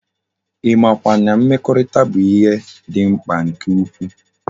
I ma kwa na mmekorita bu ihe di mkpa nke ukwu?